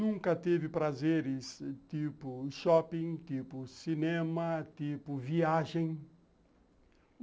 Nunca teve prazeres tipo shopping, tipo cinema, tipo viagem.